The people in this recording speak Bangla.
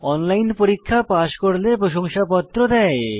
অনলাইন পরীক্ষা পাস করলে প্রশংসাপত্র দেয়